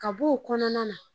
Ka bɔ o kɔnɔna na